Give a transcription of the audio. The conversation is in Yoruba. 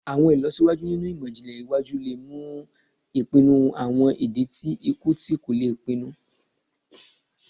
Awọn ilọsiwaju ninu imọ-jinlẹ iwaju le mu ipinnu awọn idi ti iku ti ko le pinnu